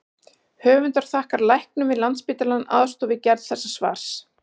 Höfundar þakkar læknum við Landspítalann aðstoð við gerð þessa svars.